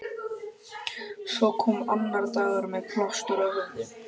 Svo kom annar dagur- með plástur á höfði.